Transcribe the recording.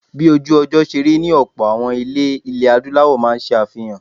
Bí ojú-ọjọ́ ṣe rí ni ọlpọ̀ àwọn ilé ilẹ̀ Adúláwọ̀ máa ń ṣe àfihàn.